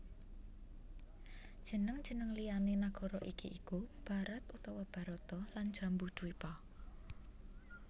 Jeneng jeneng liyané nagara iki iku Bharat utawa Bharata lan Jambudwipa